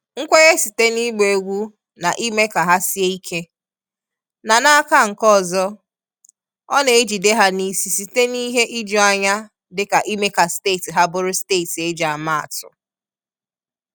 Nkwenye site n’ịgba egwu na ime ka ha sie ike, na n’aka nke ọzọ, ọ na-ejide ha n’isi site n’ihe ijuanya dịka ime ka steeti ha bụrụ steeti e ji ama atụ.